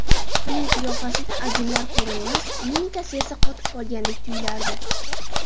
Uning qiyofasida ajinlar ko‘rinmas, mimikasi esa qotib qolgandek tuyilardi.